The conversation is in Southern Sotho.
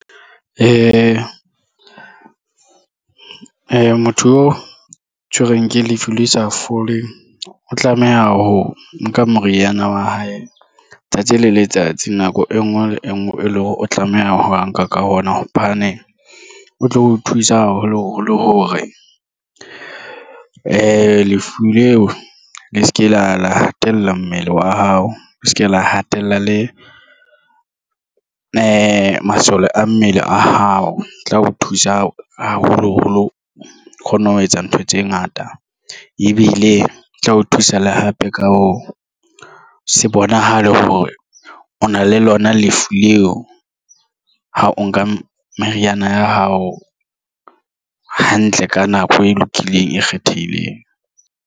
Motho oo tshwerweng ke lefu le sa foleng. O tlameha ho nka moriana wa hae tsatsi le letsatsi nako e nngwe le e nngwe e leng hore o tlameha ho nka ka ona hobane o tlo o thusa haholo. Holo hore lefu leo le se ke la hatella mmele wa hao le se ke la hatella le masole a mmele a hao o tla o thusa haholo holo kgonne ho etsa ntho tse ngata ebile e tla o thusa le hape ka bo se bonahale hore o na le lona lefu leo ha o nka meriana ya hao hantle ka nako e lokileng e kgethehileng.